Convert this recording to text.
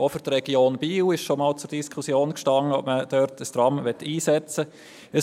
es stand auch schon einmal zur Diskussion, ob man in der Region Biel ein Tram einsetzen möchte.